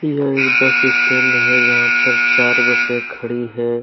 यह एक bus stand है जहां पर चार बसें खड़ी हैं।